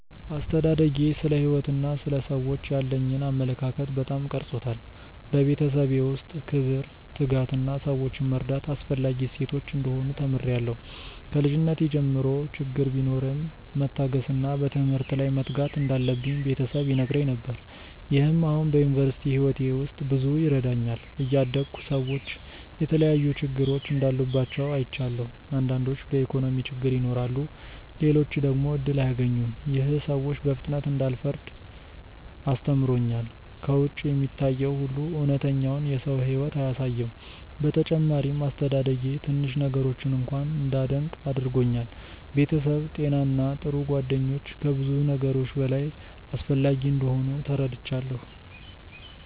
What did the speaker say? አስተዳደጌ ስለ ሕይወት እና ስለ ሰዎች ያለኝን አመለካከት በጣም ቀርጾታል። በቤተሰቤ ውስጥ ክብር፣ ትጋት እና ሰዎችን መርዳት አስፈላጊ እሴቶች እንደሆኑ ተምሬያለሁ። ከልጅነቴ ጀምሮ ችግር ቢኖርም መታገስ እና በትምህርት ላይ መትጋት እንዳለብኝ ቤተሰብ ይነግረኝ ነገር። ይህም አሁን በዩኒቨርሲቲ ሕይወቴ ውስጥ ብዙ ይረዳኛል። እያደግሁ ሰዎች የተለያዩ ችግሮች እንዳሉባቸው አይቻለሁ። አንዳንዶች በኢኮኖሚ ችግር ይኖራሉ፣ ሌሎች ደግሞ እድል አያገኙም። ይህ ሰዎችን በፍጥነት እንዳልፈርድ አስተምሮኛል። ከውጭ የሚታየው ሁሉ እውነተኛውን የሰው ሕይወት አያሳይም። በተጨማሪም አስተዳደጌ ትንሽ ነገሮችን እንኳ እንዳደንቅ አድርጎኛል። ቤተሰብ፣ ጤና እና ጥሩ ጓደኞች ከብዙ ነገሮች በላይ አስፈላጊ እንደሆኑ ተረድቻለሁ።